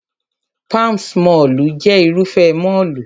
Palms mọ́ọ̀lù jẹ́ Irúfẹ́ mọ́ọ̀lù